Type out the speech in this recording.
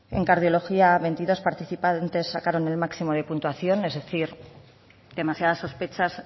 en cardiología veintidós participantes sacaron el máximo de puntuación es decir demasiadas sospechas